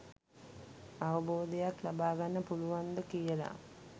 අවබෝධයක් ලබාගන්න පුළුවන්ද කියල.